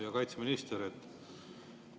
Hea kaitseminister!